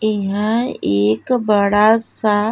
इहाँ एक बड़ा सा --